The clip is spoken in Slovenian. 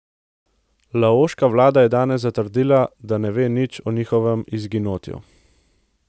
Laoška vlada je danes zatrdila, da ne ve nič o njegovem izginotju.